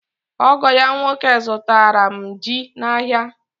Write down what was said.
Ogo ya nwoke zụtara m ji n'ahịa.